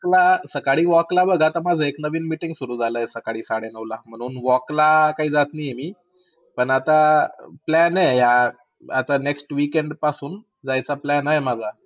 ला सकाळी walk ला जाताना माझी एक नवीन meeting सुरु झाली सडे नऊ ला. walk ला काही जात नाही आहे मी. पण आता plan आहे हा next weekend पासून, जायचा plan आहे माझा.